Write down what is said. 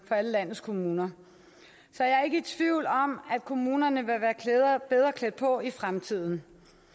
for alle landets kommuner så jeg er ikke i tvivl om at kommunerne vil være bedre klædt på i fremtiden